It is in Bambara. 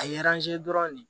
A ye dɔrɔn de